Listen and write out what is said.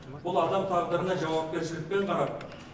бұл адам тағдырына жауапкершілікпен қарап